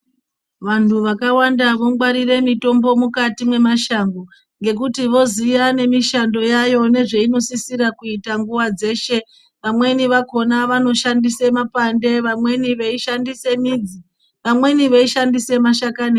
Vantu vakawanda vongwarire mitombo mukati mwemashango ngekuti voziya nemishando yayo nezvainosisira kuita nguwa dzeshe vamweni vakhona vanoshandise mapande , vamwe veishandise midzi, vamweni veishandise mashakani.